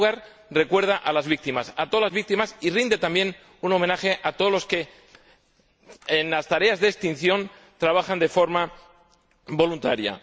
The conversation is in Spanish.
En primer lugar, recuerda a las víctimas, a todas las víctimas, y rinde también un homenaje a todos los que, en las tareas de extinción, trabajan de forma voluntaria.